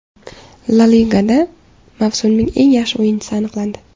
La Ligada mavsumning eng yaxshi o‘yinchisi aniqlandi.